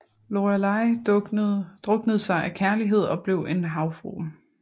Lorelei druknede sig af kærlighed og blev en havfrue